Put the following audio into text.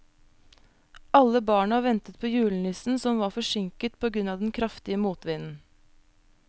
Alle barna ventet på julenissen, som var forsinket på grunn av den kraftige motvinden.